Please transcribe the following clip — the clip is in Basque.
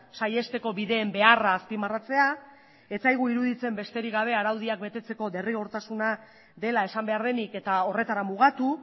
saihesteko bideen beharra azpimarratzea ez zaigu iruditzen besterik gabe araudiak betetzeko derrigortasuna dela esan behar denik eta horretara mugatu